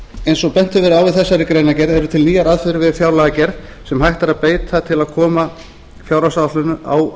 eins og bent hefur verið á í þessari greinargerð eru til nýjar aðferðir við fjárlagagerð sem hægt er að beita til að koma fjárhagsáætlunum á